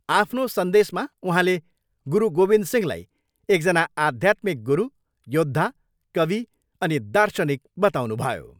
आफ्नो सन्देशमा उहाँले गुरु गोविन्द सिंहलाई एकजना आध्यात्मिक गुरु, योद्धा, कवि अनि दार्शनिक बताउनुभयो।